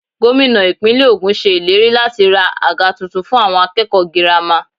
Gómìnà Ìpínlẹ̀ ogún ṣe ìlérí láti ra àga tuntun fún àwọn akẹ́kọ̀ọ́ girama.